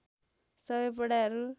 सबै पढाइहरू